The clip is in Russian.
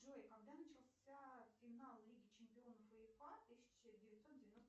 джой когда начался финал лиги чемпионов уефа тысяча девятьсот девяносто